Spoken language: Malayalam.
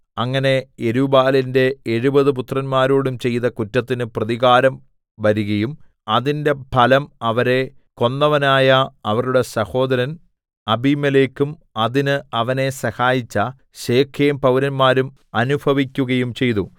അങ്ങനെ യെരുബ്ബാലിന്റെ എഴുപത് പുത്രന്മാരോടും ചെയ്ത കുറ്റത്തിന് പ്രതികാരം വരികയും അതിന്റെ ഫലം അവരെ കൊന്നവനായ അവരുടെ സഹോദരൻ അബീമേലെക്കും അതിന് അവനെ സഹായിച്ച ശെഖേം പൌരന്മാരും അനുഭവിക്കുകയും ചെയ്തു